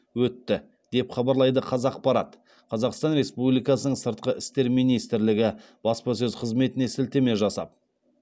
өтті деп хабарлайды қазақпарат қазақстан республикасын сыртқы істер министрлігі баспасөз қызметіне сілтеме жасап